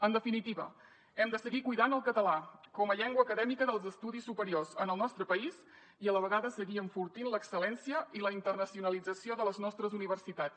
en definitiva hem de seguir cuidant el català com a llengua acadèmica dels estudis superiors en el nostre país i a la vegada seguir enfortint l’excel·lència i la internacionalització de les nostres universitats